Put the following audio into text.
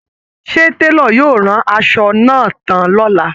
Ṣé Télò yóò rán aṣọ náà tán lọ́la